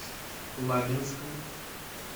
лабинском